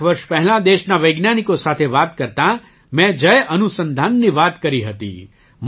કેટલાંક વર્ષ પહેલાં દેશના વૈજ્ઞાનિકો સાથે વાત કરતાં મેં જય અનુસંધાનની વાત કરી હતી